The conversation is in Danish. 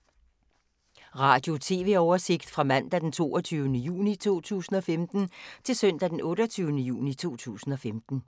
Radio/TV oversigt fra mandag d. 22. juni 2015 til søndag d. 28. juni 2015